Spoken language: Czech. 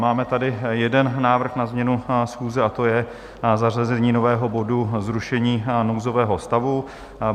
Máme tady jeden návrh na změnu schůze, a to je zařazení nového bodu Zrušení nouzového stavu.